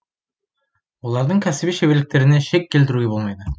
олардың кәсіби шеберліктеріне шек келтіруге болмайды